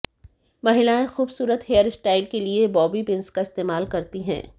महिलाएं खूबसूरत हेयरस्टाइल के लिए बॉबी पिन्स का इस्तेमाल करती है